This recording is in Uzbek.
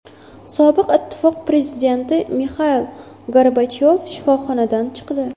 Sobiq Ittifoq prezidenti Mixail Gorbachyov shifoxonadan chiqdi.